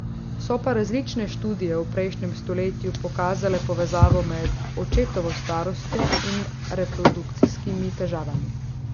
So pa različne študije v prejšnjem stoletju pokazale povezavo med očetovo starostjo in reprodukcijskimi težavami.